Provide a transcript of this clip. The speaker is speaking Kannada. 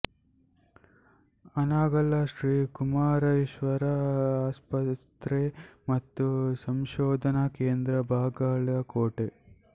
ಹಾನಗಲ್ಲ ಶ್ರೀ ಕುಮಾರೇಶ್ವರ ಆಸ್ಪತ್ರೆ ಮತ್ತು ಸಂಶೋಧನಾ ಕೇಂದ್ರ ಬಾಗಲಕೋಟ